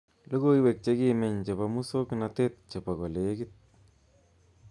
Logoiwek chekimeny chebo musoknanet chebo kolekit